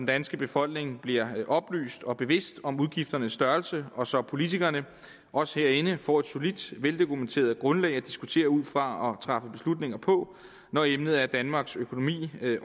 danske befolkning bliver oplyst og bevidst om udgifternes størrelse og så politikerne os herinde får et solidt veldokumenteret grundlag at diskutere ud fra og træffe beslutninger på når emnet er danmarks økonomi